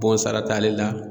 Bon sara t'ale la